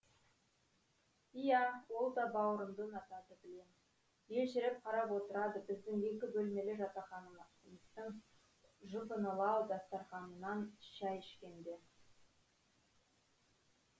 иә ол да бауырымды ұнатады білем елжіреп қарап отырады біздің екі бөлмелі жатақханамыздың жұпынылау дастарханынан шәй ішкенде